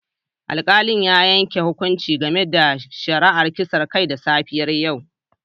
Alkalin ya yanke hukunci game da shari'ar kisan kai da safiyar yau